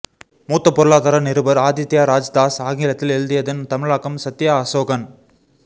மூத்த பொருளாதார நிருபர் ஆதித்ய ராஜ் தாஸ் ஆங்கிலத்தில் எழுதியதன் தமிழாக்கம் சத்யா அசோகன்